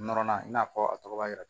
Nɔrɔnan i n'a fɔ a tɔgɔ b'a yira